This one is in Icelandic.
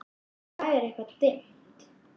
Í dag er það eitthvað dimmt.